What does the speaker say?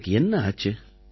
உங்களுக்கு என்ன ஆச்சு